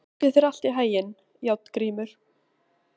Gangi þér allt í haginn, Járngrímur.